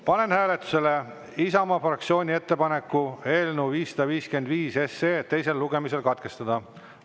Panen hääletusele Isamaa fraktsiooni ettepaneku eelnõu 555 teisel lugemisel katkestada.